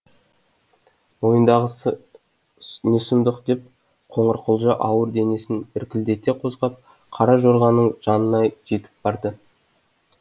мойындағысы не сұмдық деп қоңырқұлжа ауыр денесін іркілдете қозғап қара жорғаның жанына жетіп барды